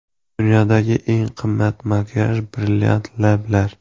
Dunyoda eng qimmat makiyaj: Brilliant lablar.